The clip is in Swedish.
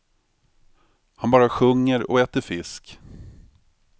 Han bara sjunger och äter fisk.